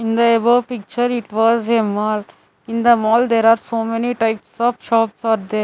In the above picture it was a mall in the mall there are so many types of shops are there.